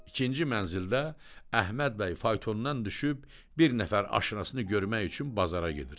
İkinci mənzildə Əhməd bəy faytondan düşüb bir nəfər aşinasını görmək üçün bazara gedir.